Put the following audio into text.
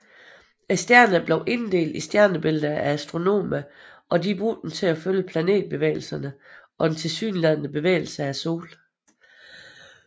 Stjerner blev inddelt i stjernebilleder af astronomer og de brugte dem til følge planetbevægelserne og den tilsyneladende bevægelse af Solen